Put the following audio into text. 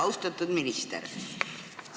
Austatud minister!